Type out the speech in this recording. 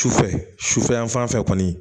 Sufɛ sufɛ yanfan fɛ kɔni